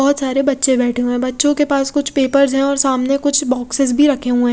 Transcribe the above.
बोहोत सारे बच्चे बेठे हुए है बच्चो के पास कुछ पेपर्स है और सामने कुछ बॉक्सेस भी रखे हुए--